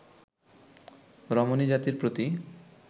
রমণীজাতির প্রতি